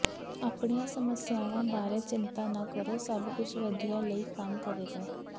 ਆਪਣੀਆਂ ਸਮੱਸਿਆਵਾਂ ਬਾਰੇ ਚਿੰਤਾ ਨਾ ਕਰੋ ਸਭ ਕੁਝ ਵਧੀਆ ਲਈ ਕੰਮ ਕਰੇਗਾ